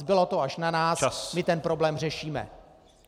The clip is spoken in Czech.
Zbylo to až na nás, my ten problém řešíme.